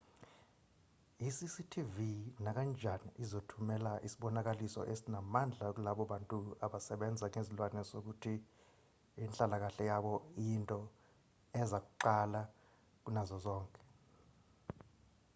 i-cctv nakanjani izothumela isibonakaliso esinamandla kulabo bantu abasebenza ngezilwane sokuthi inhlalakahle yabo iyinto eza kuqala kunazo zonke